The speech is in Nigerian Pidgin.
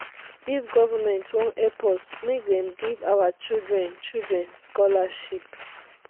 if government wan help us make dem give our children children scholarship.